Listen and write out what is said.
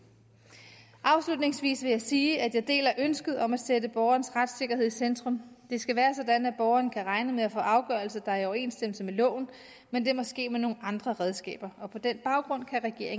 afslutningsvis vil jeg sige at jeg deler ønsket om at sætte borgerens retssikkerhed i centrum det skal være sådan at borgeren kan regne med at få en afgørelse der er i overensstemmelse med loven men det er måske med nogle andre redskaber og på den baggrund